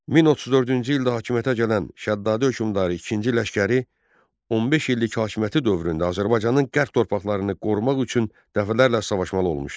1034-cü ildə hakimiyyətə gələn Şəddaddi hökmdarı ikinci Ləşkəri 15 illik hakimiyyəti dövründə Azərbaycanın qərb torpaqlarını qorumaq üçün dəfələrlə savaşmalı olmuşdu.